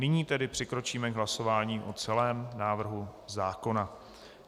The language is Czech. Nyní tedy přikročíme k hlasování o celém návrhu zákona.